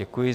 Děkuji.